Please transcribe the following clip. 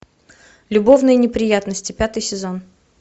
любовные неприятности пятый сезон